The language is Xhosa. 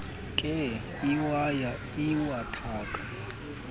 nkee iwaya iwathaka